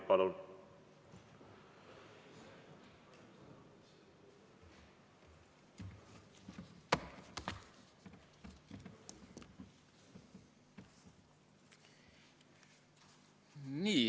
Palun!